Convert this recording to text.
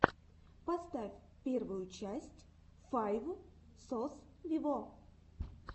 поставь первую часть файв сос виво